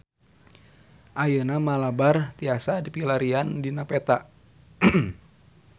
Ayeuna Malabar tiasa dipilarian dina peta